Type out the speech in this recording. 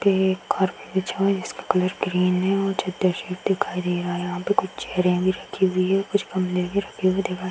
ये एक जिसका कलर ग्रीन है और दिखाई दे रहा है। यहां पे कुछ चेयरे भी रखी हुई हैं। कुछ गमले भी रखे हुए दिखाई --